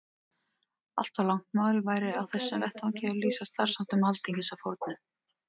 Allt of langt mál væri á þessum vettvangi að lýsa starfsháttum Alþingis að fornu.